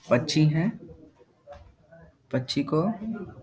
पक्षी हैं। पक्षी को --